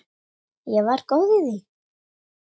Ég var góð í því.